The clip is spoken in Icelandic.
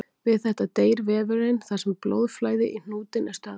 Við þetta deyr vefurinn þar sem blóðflæði í hnútinn er stöðvað.